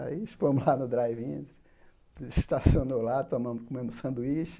Aí fomos lá no drive-in, estacionou lá, tomamos comemos sanduíche.